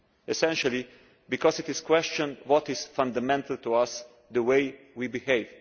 Essentially, because it questions what is fundamental to us the way we behave.